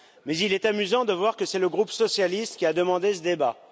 Mais il est amusant de voir que c'est le groupe socialiste qui a demandé ce débat.